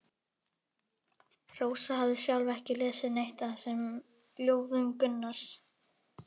Rósa hafði sjálf ekki lesið neitt af þessum ljóðum Gunnars.